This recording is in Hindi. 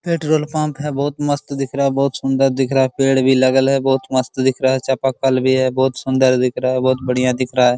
पेट्रोल पंप है बहुत मस्त दिख रहा है बहुत सुन्दर दिख रहा है पेड़ भी लगल है बहुत मस्त दिख रहा है चापाकल भी है बहुत सुन्दर दिख रहा है बहुत बढ़िया दिख रहा है ।